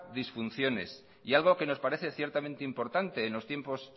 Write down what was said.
disfunciones y algo que nos parece ciertamente importante en los tiempos